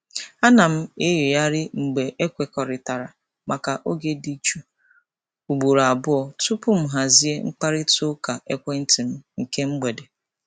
A na m enyoghari mgbe ekwekọrịtara maka oge dị jụụ ugboro abụọ tupu m hazie mkparịta ụka ekwenti m nke mgbede.